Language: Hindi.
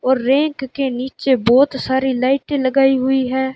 और रैक के नीचे बहोत सारी लाइटे लगाई हुई है।